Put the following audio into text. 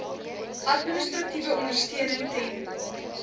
administratiewe ondersteuning ten